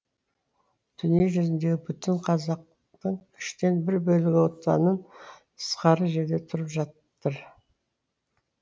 дүние жүзіндегі бүтін қазақтың үштен бір бөлігі отанын тысқары жерде тұрып жатыр